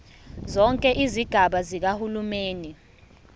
zonke izigaba zikahulumeni